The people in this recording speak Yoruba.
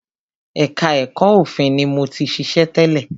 Ẹka ẹ̀kọ́ òfin ni mo ti ṣiṣẹ́ tẹ́lẹ̀.